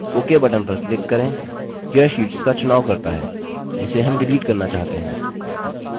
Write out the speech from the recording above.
ok button पर click करें यह शीट्स का चुनाव करता है जिसे हम डिलीट करना चाहते हैं